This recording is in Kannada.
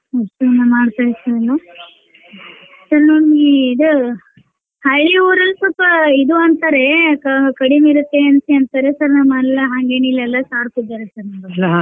ಮತ್ತೇನ ಮಾಡ್ತೈತ್ರಿ ಎಲ್ಲಾ sir ಇದ ಹಳ್ಳಿ ಅವ್ರು ಸಲ್ಪ ಇದ್ ಅಂತೇ ಕ~ಕಡೀಮ್ ಇರುತ್ತೆ ಅಂತ್ ಅಂತಾರೇ sir ನಮ್ಮಲೆಲ್ಲ ಹಂಗೆನಿಲ್ಲ ಎಲ್ಲ sharp ಇದಾರೆ sir ಮಾಡುದ್ .